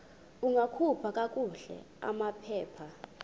ungakhupha kakuhle amaphepha